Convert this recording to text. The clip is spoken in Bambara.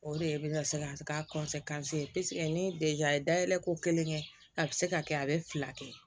O de ye i bɛ ka se ka k'a ni ye dayɛlɛ ko kelen kɛ a bɛ se ka kɛ a bɛ fila kɛ